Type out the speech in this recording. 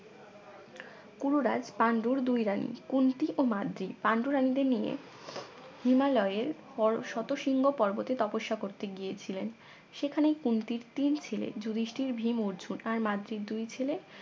কুরু রাজ পাণ্ডুর তুই রানী কুন্তী ও মাদ্রি পান্ডু রানিদের নিয়ে হিমালয়ের শতশৃঙ্গ পর্বতে তপস্যা করতে গিয়েছিলেন সেখানেই কুন্তীর তিন ছেলে যুধিষ্ঠির ভীম অর্জুন আর মাদ্রির দুই ছেলে